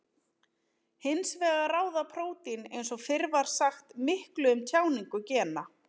Hins vegar ráða prótín eins og fyrr var sagt miklu um tjáningu gena.